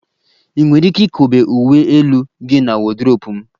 Ị nwere ike ikobe uwe elu gị na wọdrobu m